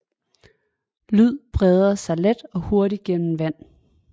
Lyd breder sig let og hurtigt igennem vand